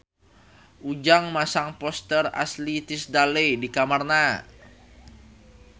Ujang masang poster Ashley Tisdale di kamarna